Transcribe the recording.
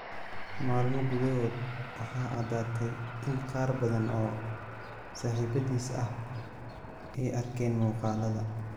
Maalmo gudahood waxaa caddaatay in qaar badan oo saaxiibbadiis ah ay arkeen muuqaallada.